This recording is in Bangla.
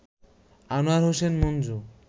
আনোয়ার হোসেন মঞ্জু